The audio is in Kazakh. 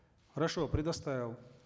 хорошо предоставил